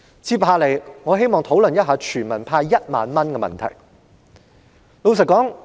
接下來，我想討論向全民派發1萬元的問題。